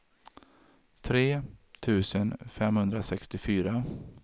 tre tusen femhundrasextiofyra